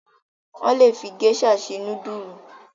Wọ́n le fi géíṣà se núdúlù.